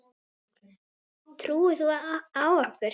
Trúir þú á okkur?